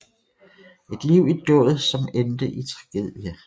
Et liv i dåd som endte i tragedie